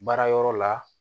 Baara yɔrɔ la